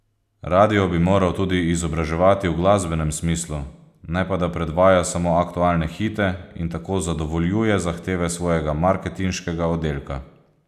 Radio bi moral tudi izobraževati v glasbenem smislu, ne pa da predvaja samo aktualne hite in tako zadovoljuje zahteve svojega marketinškega oddelka.